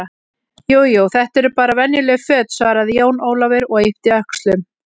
Jú, jú, þetta eru bara venjuleg föt, svaraði Jón Ólafur og yppti öxlum.